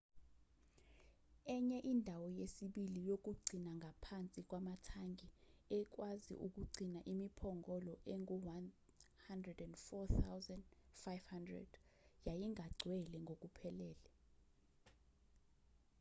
enye indawo yesibili yokugcina ngaphansi kwamathangi ekwazi ukugcina imiphongolo engu-104,500 yayingagcwele ngokuphelele